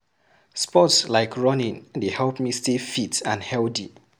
Sports like running dey help me stay fit and healthy